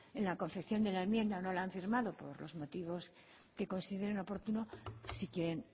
en la confección de la enmienda o no la han firmado por los motivos que considere oportunos si quieren